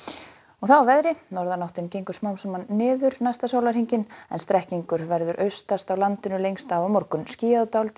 að veðri norðanáttin gengur smám saman niður næsta sólarhringinn en strekkingur verður austast á landinu lengst af á morgun skýjað og dálítil